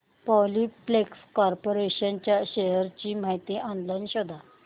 Polyplex corporation च्या shares ची माहिती ऑनलाइन शोध